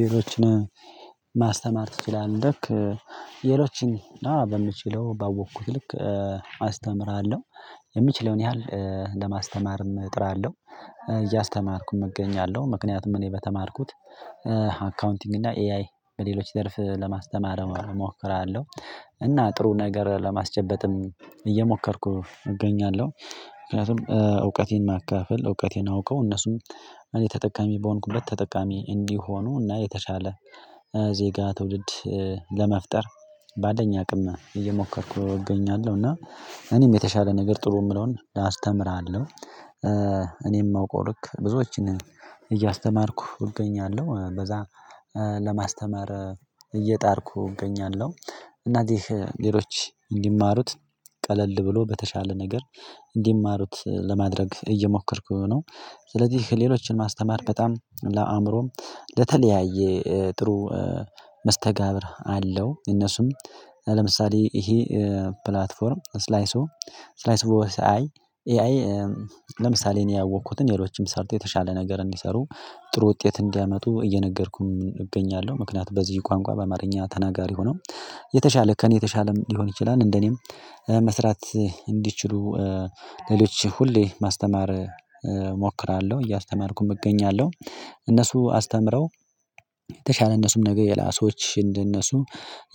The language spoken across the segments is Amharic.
ሌሎችን ማስተማር ትችላለክ? ሌሎችን አዎ በምችለው ባወኩት ልክ አስተምራለሁ የሚችለውን ያህል ለማስተማርም እጥራለሁ እያስተማርኩኝ እገኛለሁ ምክንያቱም እኔ በተማርኩት አካውንቲንግ እና ኤአይ በሌሎች ዘርፍ ለማስተማር እሞክራለሁ። እና ጥሩ ነገር ለማስጨበጥም እየሞከርኩ እገኛለሁ ምክንያቱም እውቀቴን ማካፈል እውቀቴን አውቀው እነሱም እኔ ተጠቃሚ በሆንኩበት ተጠቃሚ እንዲሆኑ እና የተሻለ ዜጋ ትውልድ ለመፍጠር ባለኝ አቅም እየሞከርኩ እገኛለሁ። እና እኔም የተሻለ ነገር ጥሩ ምለውን አስተምራለሁ። እኔም ማውቀው ልክ ብዙዎችን እያስተማርኩ እገኛለሁ። በዛ ለማስተማር እየጣርኩ እገኛለሁ። እና ሌሎች እንዲማሩት ቀለል ብሎ በተሻለ ነገር እንዲማሩት ለማድረግ እየሞከርኩ ነው። ስለዚህ ሌሎችን ማስተማር በጣም ለአእምሮም ለተለያየ ጥሩ መስተጋብር አለው። እነሱም ለምሳሌ ይሄ ፕላትፎርም ስላይሱ ስላይሱ በወሳኝ ኤአይ ለምሳሌ እኔ ያወቅኩትን ሌሎችም ሰርቶ የተሻለ ነገር እንዲሰሩ ጥሩ ውጤት እንዲያመጡ እየነገርኩም እገኛለሁ። ምክንያቱም በዚህ ቋንቋ በአማርኛ ተናጋሪ ሆኖ የተሻለ ከእኔ የተሻለም ሊሆን ይችላል። እንደኔም መስራት እንዲችሉ ሌሎች ሁሌ ማስተማር እሞክራለሁ እያስተማርኩም እገኛለሁ። እነሱ አስተምረው የተሻለ እነሱም ነገር ለላ ሰዋች እንደነሱ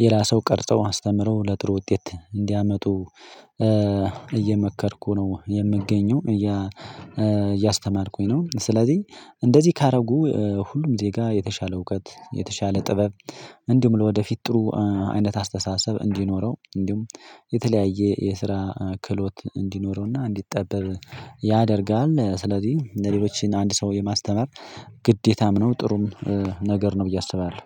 ለላ ሰው ቀርጸው አስተምረው ለጥሩ ውጤት እንዲያመጡ እየመከርኩ ነው የምገኘው። እያ እያስተማርኩኝ ነው። ስለዚህ እንደዚህ ካረጉ ሁሉም ዜጋ የተሻለ እውቀት የተሻለ ጥበብ እንዲሁም ለወደፊት ጥሩ አይነት አስተሳሰብ እንዲኖረው እንዲሁም የተለያየ የስራ ክህሎት እንዲኖረውና እንዲጠበብ ያደርጋል። ስለዚህ እንደ ሌሎች አንድ ሰው የማስተማር ግዴታም ነው። ጥሩም ነገር ነው ብዬ አስባለሁ